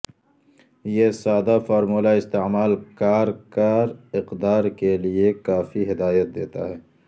یہ سادہ فارمولہ استعمال کار کار اقدار کے لئے کافی ہدایت دیتا ہے